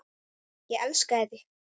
Ég elskaði þig.